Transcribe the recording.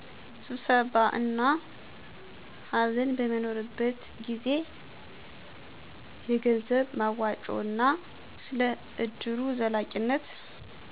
ስብሰባ እና ሃዘን በሚኖርበት ጊዜ። የገንዘብ መዋጮ እና ስለ እድሩ ዘላቂነት